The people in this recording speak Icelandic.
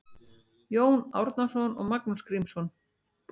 Jón Árnason og Magnús Grímsson